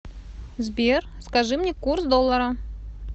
сбер скажи мне курс доллара